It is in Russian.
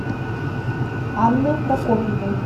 анной прокопьевой